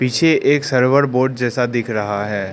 पीछे एक server board जैसा दिख रहा है।